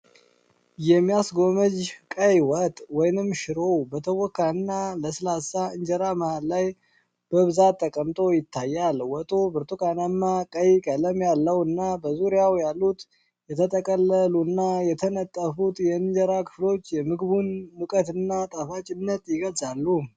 የሚያስጎመዥ ቀይ ወጥ (ሺሮ)፣ በተቦካና ለስላሳ እንጀራ መሀል ላይ በብዛት ተቀምጦ ይታያል። ወጡ ብርቱካናማ ቀይ ቀለም ያለው እና፣ በዙሪያው ያሉት የተጠቀለሉና የተነጠፉት የእንጀራ ክፍሎች የምግቡን ሙቀትና ጣፋጭነት ይገልጻሉ።